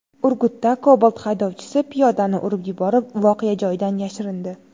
Urgutda Cobalt haydovchisi piyodani urib yuborib, voqea joyidan yashirindi.